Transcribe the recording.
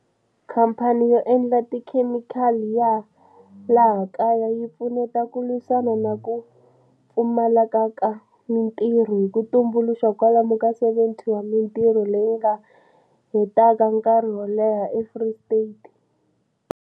Khamphani yo endla tikhemikhali ya laha kaya yi pfuneta ku lwisana na ku pfumale ka ka mitirho hi ku tumbuluxa kwalomu ka 70 wa mitirho leyi nga hetaka nkarhi wo leha eFree State.